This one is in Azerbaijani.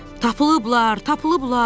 "Tapılıblar, tapılıblar!"